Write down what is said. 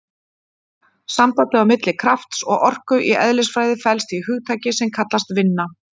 Sambandið á milli krafts og orku í eðlisfræði felst í hugtaki sem kallast vinna.